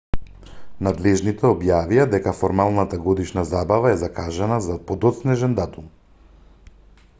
надлежните објавија дека формалната годишна забава е закажана за подоцнежен датум